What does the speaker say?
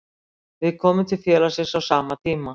Við komum til félagsins á sama tíma.